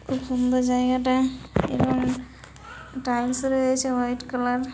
খুব সুন্দর জায়গাটা এবং টাইলস রয়েছে হোয়াইট কালার --